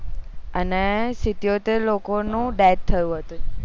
અને સીત્યોતિર લોકો નું death થયું હતું